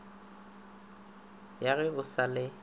ya ge o sa le